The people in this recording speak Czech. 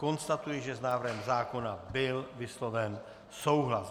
Konstatuji, že s návrhem zákona byl vysloven souhlas.